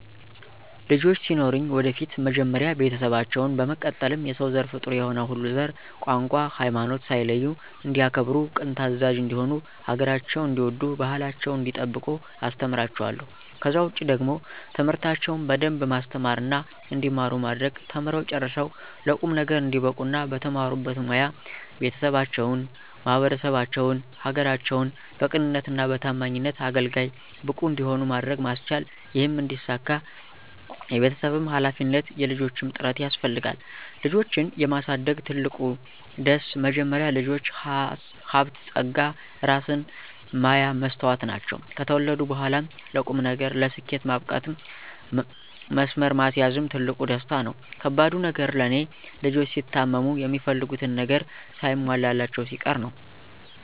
ልጆች ሲኖሩኝ ወደፊት መጀመሪያ ቤተሰባቸውን፣ በመቀጠልም የሰው ዘር ፍጡር የሆነ ሁሉ ዘር፣ ቋንቋ፣ ሀይማኖት ሳይለዩ እንዲያከብሩ ቅን ታዛዥ እንዲሆኑ ሀገራቸውን እንዲወዱ ባህላቸውን እንዲጠብቁ አስተምራቸዋለሁ። ከዛ ውጪ ደግሞ ትምህርታቸውን በደንብ ማስተማርና እንዲማሩ ማድረግ ተምረው ጨርሰው ለቁም ነገር እንዲበቁ እና በተማሩበት ሞያ ቤተሰባቸውን፣ ማህበረሰባቸውን፣ ሀገራቸውን በቅንነትና በታማኝነት አገልጋይ፣ ብቁ እንዲሆኑ ማድረግ ማስቻል ይህም እንዲሳካ የቤተሰብም ሀላፊነት የልጆችም ጥረት ያስፈልጋል። ልጆችን የማሳደግ ትልቁ ደስ፦ መጀመሪያ ልጆች ሀብት ፀጋ እራስን ማያ መስታወት ናቸው። ከተወለዱ በኋላም ለቁም ነገር፣ ለስኬት ማብቃትም መስመር ማስያዝም ትልቁ ደስታ ነው። ከባዱ ነገር ለኔ፦ ልጆች ሲታመሙ፣ የሚፈልጉትን ነገር ሳይሟላላቸው ሲቀር ነው።